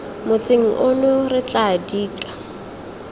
motseng ono re tla dika